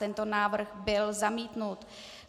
Tento návrh byl zamítnut.